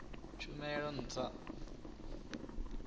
tshumelo ntswa i o vhumba